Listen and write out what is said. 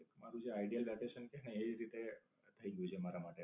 તમારું જે The Idol Vacation કે ને એ જ રીત થઇ ગયું છે મારા માટે.